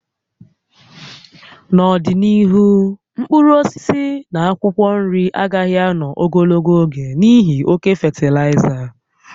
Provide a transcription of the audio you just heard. N'ọdịnihu, mkpụrụ osisi na akwụkwọ nri agaghị ànọ́ ogologo oge n'ihi oke fatịlaịza